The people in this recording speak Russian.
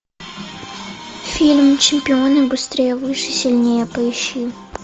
фильм чемпионы быстрее выше сильнее поищи